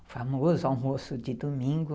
O famoso almoço de domingo.